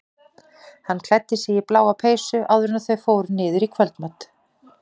Hann klæddi sig í bláa peysu áður en þau fóru niður í kvöldmat.